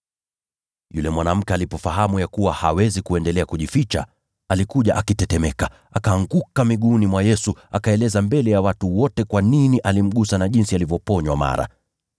Yule mwanamke alipofahamu ya kuwa hawezi kuendelea kujificha, alikuja akitetemeka, akaanguka miguuni mwa Yesu. Akaeleza mbele ya watu wote kwa nini alimgusa na jinsi alivyoponywa mara.